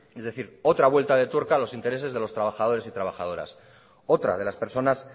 es decir otra vuelta de tuerca a los intereses de los trabajadores y trabajadoras otra de las personas